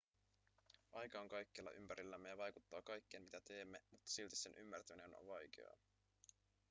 aika on kaikkialla ympärillämme ja vaikuttaa kaikkeen mitä teemme mutta silti sen ymmärtäminen on vaikeaa